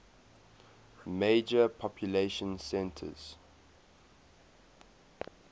major population centers